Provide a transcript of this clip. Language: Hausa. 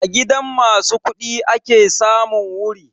A gidan ma su kuɗi ake samun wuri